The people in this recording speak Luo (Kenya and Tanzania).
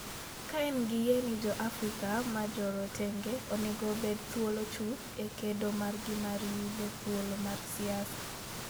ka en gi yie ni jo Afrika ma jorotenge onego obed thuolo chuth e kedo margi mar yudo thuolo mar siasa.